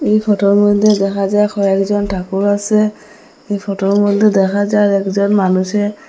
এই ফটোর মধ্যে দেখা যায় কয়েকজন ঠাকুর আসে এই ফটোর মধ্যে দেখা যায় একজন মানুষে--